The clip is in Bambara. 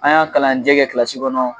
An y'an kalanjɛ kɛ kilasi kɔnɔ